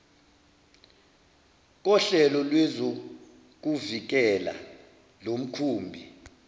kohlelo lwezokuvikela lomkhumbi